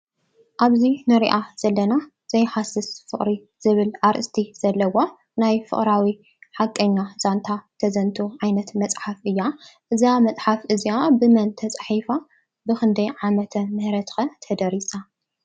ኣብዚ ንሪኣ ዘለና ዘይሃስስ ፍቅሪ ዝብል ኣርእስቲ ዘለዋ ናይ ፍቅራዊ ሓቀኛ ዛንታ ተዘንቱ ዓይነት መፅሓፍ እያ። እዛ መፅሓፍ እዚኣ ብመን ተፃሒፋ? ብክንደይ ዓመተ ምህረት ከ ተደሪሳ ?